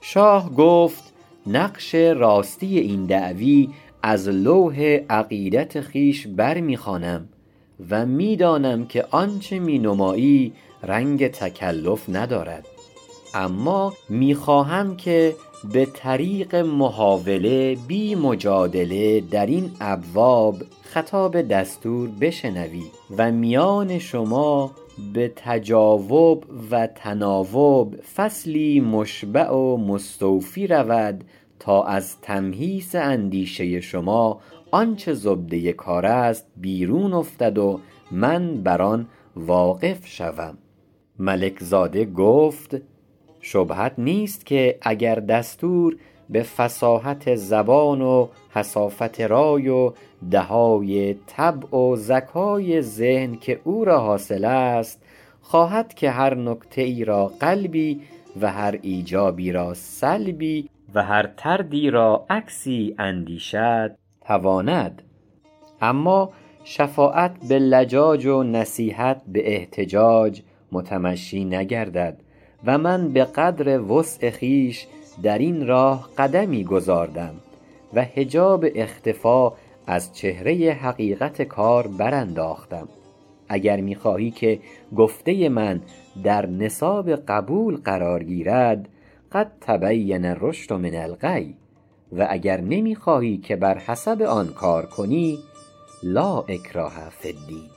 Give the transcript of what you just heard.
شاه گفت نقش راستی این دعوی از لوح عقیدت خویش برمی خوانم و می دانم که آنچه می نمایی رنگ تکلف ندارد اما می خواهم که به طریق محاوله بی مجادله درین ابواب خطاب دستور بشنوی و میان شما به تجاوب و تناوب فصلی مشبع و مستوفی رود تا از تمحیص اندیشه شما آنچ زبده کارست بیرون افتد و من بر آن واقف شوم ملک زاده گفت شبهت نیست که اگر دستور به فصاحت زبان و حصافت رای و دهای طبع و ذکای ذهن که او را حاصل است خواهد که هر نکته ای را قلبی و هر ایجابی را سلبی و هر طردی را عکسی اندیشد تواند اما شفاعت به لجاج و نصیحت به احتجاج متمشی نگردد و من به قدر وسع خویش درین راه قدمی گذاردم و حجاب اختفا از چهره حقیقت کار برانداختم اگر می خواهی که گفته من در نصاب قبول قرار گیرد قد تبین الرشد من الغی و اگر نمی خواهی که بر حسب آن کار کنی لا اکراه فی الدین